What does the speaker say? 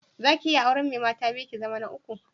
Zaki iya auren mai mata biyu, ki zama ta uku?